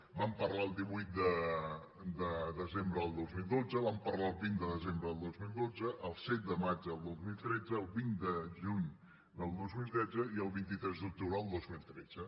en vam parlar el divuit de desembre del dos mil dotze en vam parlar el vint de desembre del dos mil dotze el set de maig del dos mil tretze el vint de juny del dos mil tretze i el vint tres d’octubre del dos mil tretze